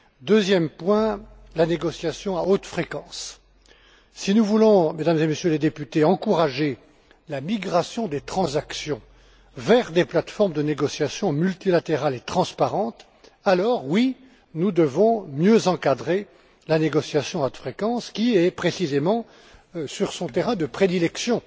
Deuxième point la négociation à haute fréquence. Si nous voulons, Mesdames et Messieurs les députés, encourager la migration des transactions vers des plates formes de négociation multilatérales et transparentes, alors, oui, nous devons mieux encadrer la négociation à haute fréquence qui est, précisément, sur son terrain de prédilection,